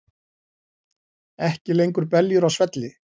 Ekki lengur beljur á svelli